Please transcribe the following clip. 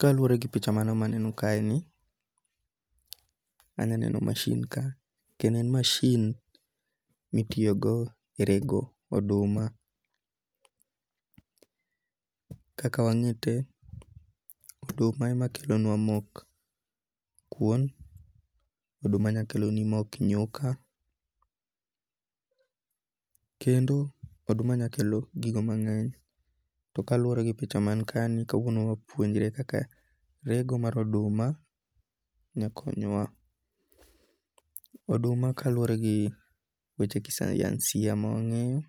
Kaluore gi picha mano manenokaeni, aneno machine kae, kendo en machine mitiyogo e rego oduma, kaka wange' te oduma ema kelonwa mok kuon, oduma nyakeloni mok nyuka, kendo oduma nyalo kelo gigo mange'ny to kaluore gi picha man kaeni kawuono wapuonjre rego mar oduma, nekonyowa, oduma kaluwore gi weche gi kisayansiya ma wange'yo